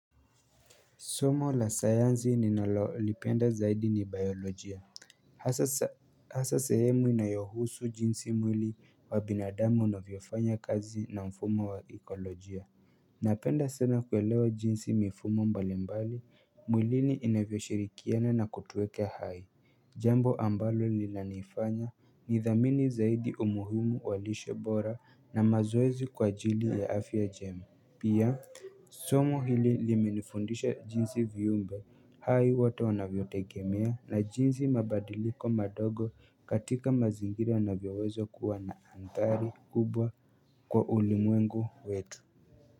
Somo la sayansi ninalolipenda zaidi ni biolojia Hasa sehemu inayohusu jinsi mwili wa binadamu unavyofanya kazi na mfumo wa ekolojia Napenda sana kuelewa jinsi mifumo mbalimbali mwilini inavyoshirikiana na kutueke hai Jambo ambalo nilaniifanya nidhamini zaidi umuhimu wa lishe bora na mazoezi kwa ajili ya afya jema pia, somo hili limenifundisha jinsi viumbe hai wote wanavyotengemia na jinsi mabadiliko madogo katika mazingira wanavyoweza kuwa na athari kubwa kwa ulimwengu wetu.